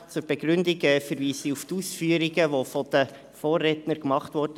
Zur Begründung verweise ich auf die Ausführungen, die von den Vorrednern gemacht wurden.